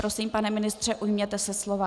Prosím, pane ministře, ujměte se slova.